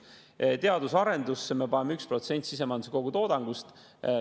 Teadus- ja arendus me paneme 1% sisemajanduse kogutoodangust.